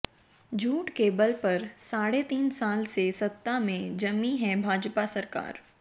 झूठ के बल पर साढ़े तीन साल से सत्ता में जमी है भाजपा सरकार